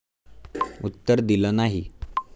उत्तर दिलं नाही.